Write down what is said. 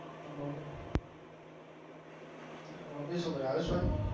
Mummy શું કરે? house wife?